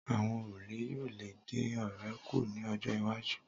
Àwọn òrùlé yóò lè dín oore kù ní ọjọ́-iwájú.